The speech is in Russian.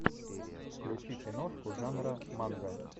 включи киношку жанра манга